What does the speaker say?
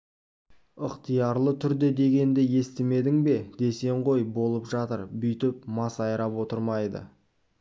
ықтиярлы түрде дегенді естімедің бе десең ғой болып жатыр бүйтіп масайрап отырмайды